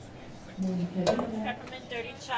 Monica Vinther